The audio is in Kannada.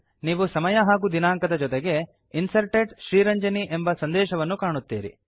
ನೀವು ಸಮಯ ಹಾಗೂ ದಿನಾಂಕದ ಜೊತೆಗೆ Inserted ಶ್ರೀರಂಜನಿ ಎಂಬ ಸಂದೇಶವನ್ನು ಕಾಣುತ್ತೀರಿ